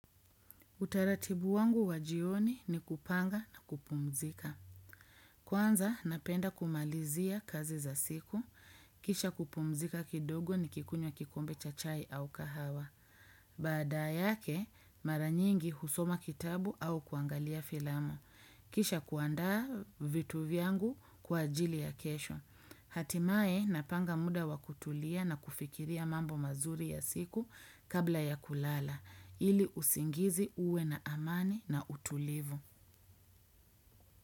Utaratibu wangu wajioni ni kupanga na kupumzika. Kwanza, napenda kumalizia kazi za siku. Kisha kupumzika kidogo ni kikunywa kikombe cha chai au kahawa. Baada yake, maranyingi husoma kitabu au kuangalia filamu. Kisha kuandaa vitu vyangu kwa ajili ya kesho. Hatimaye na panga muda wakutulia na kufikiria mambo mazuri ya siku kabla ya kulala ili usingizi uwe na amani na utulivu.